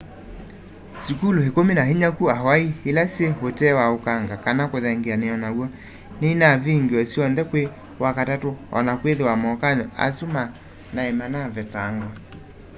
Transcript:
sukulu ikumi na inya ku hawaii ila syi utee wa ukanga kana kuthengeania naw'o ninavingiwe syonthe kwi wakatatu ona kwithiwa mokany'o asu ma nai manavetangwa